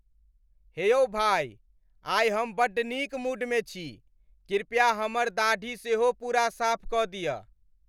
हे यौ भाइ। आइ हम बड्ड नीक मूडमे छी। कृपया हमर दाढ़ी सेहो पूरा साफ कऽ दिअ।